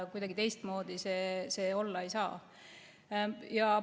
Kuidagi teistmoodi see olla ei saa.